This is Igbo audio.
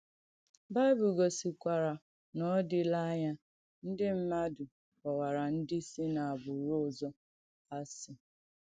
Bìbìl gọ̀sìkwarà na ọ dị̀la ànyà ndí mmadù kpọ̀wàrà ndí si n’àgbùrù òzọ̀ asị.